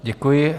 Děkuji.